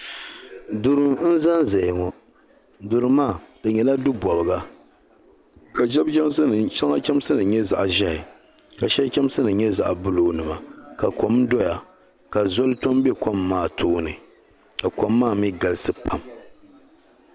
duri n zan zaya ŋɔ duri maa di nyela du bobiga ka shɛŋa chamsi nim nyɛ zaɣ'ʒehi ka shab chamsi nim nyɛ zaɣ'"blue," ka kom doya ka zoŋ ton do kom maa tooni ka kom maa mi galisi pam.